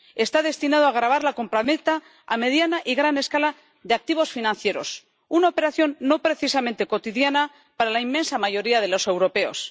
está destinado a gravar la compraventa a mediana y gran escala de activos financieros, una operación no precisamente cotidiana para la inmensa mayoría de los europeos.